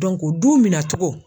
du minan cogo